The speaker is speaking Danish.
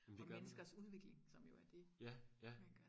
men det gør man jo ja ja